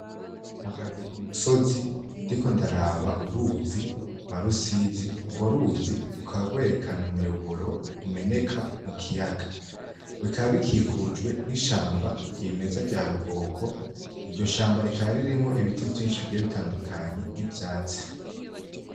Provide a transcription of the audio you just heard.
Mbagaze ku musozi ndiko ndaraba uruzi rwa Rusizi, urwo ruzi rukaba rwerekena umuyoboro umeneka mu kiyaga. Rukaba rukikujwe n’ishamba ry’imeza rya rukoko, iryo shamba rikaba ririmwo ibiti vyinshi bigiye bitandukanye n'ivyatsi.